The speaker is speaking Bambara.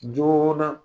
Joona